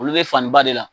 Olu be fani ba de la